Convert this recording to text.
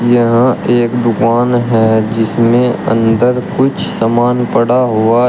यह एक दुकान है जिसमें अंदर कुछ सामान पड़ा हुआ--